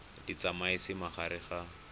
di tsamaisa mo gare ga